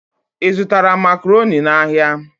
Ị zụtara Makaroni n'ahịa?